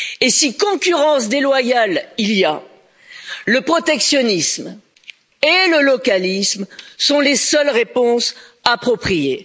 Si concurrence déloyale il y a, le protectionnisme et le localisme sont les seules réponses appropriées.